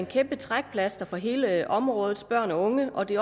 kæmpe trækplaster for hele områdets børn og unge og det